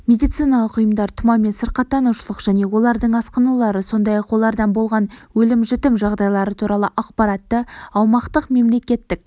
медициналық ұйымдар тұмаумен сырқаттанушылық және олардың асқынулары сондай-ақ олардан болған өлім-жітім жағдайлары туралы ақпаратты аумақтық мемлекеттік